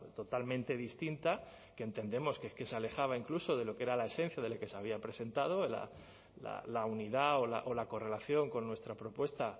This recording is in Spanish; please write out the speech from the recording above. totalmente distinta que entendemos que se alejaba incluso de lo que era la esencia de la que se había presentado la unidad o la correlación con nuestra propuesta